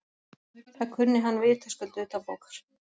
Það kunni hann vitaskuld utanbókar.